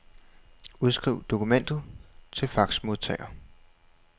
Udskriv dokumentet til faxmodtager.